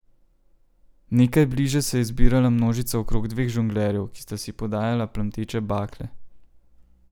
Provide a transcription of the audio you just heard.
Nekaj bliže se je zbirala množica okrog dveh žonglerjev, ki sta si podajala plamteče bakle.